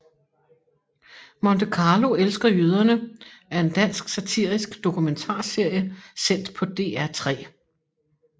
Monte Carlo elsker jøderne er en dansk satirisk dokumentarserie sendt på DR3